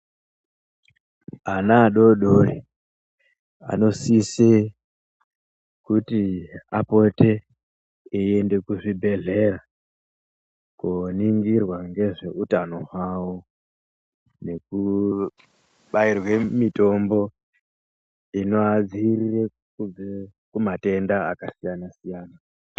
Ana adodori anosise kuti apore eyienda kuchibhehlera koningirwa ngezveutano hwavo nekubairwe mitombo inovadzivirire kubve kumatenda akasiyana siyana.